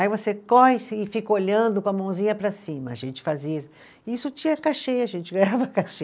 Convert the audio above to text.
Aí você corre e fica olhando com a mãozinha para cima, a gente fazia isso, isso tinha cachê, a gente ganhava cachê.